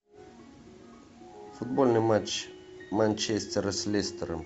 футбольный матч манчестера с лестером